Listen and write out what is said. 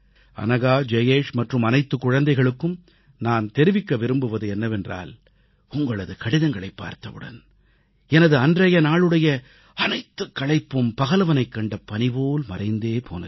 அனகா ஜயேஷ் மற்றும் அனைத்துக் குழந்தைகளுக்கும் நான் தெரிவிக்க விரும்புவது என்னவென்றால் உங்களது கடிதங்களைப் பார்த்தவுடன் எனது அன்றைய நாளுடைய அனைத்துக் களைப்பும் பகலவனைக் கண்ட பனிபோல மறைந்தே போனது